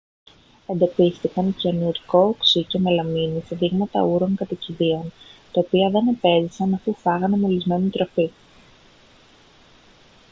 εντοπίστηκαν κυανουρικό οξύ και μελαμίνη σε δείγματα ούρων κατοικιδίων τα οποία δεν επέζησαν αφού φάγανε μολυσμένη τροφή